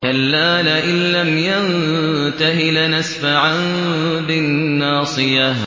كَلَّا لَئِن لَّمْ يَنتَهِ لَنَسْفَعًا بِالنَّاصِيَةِ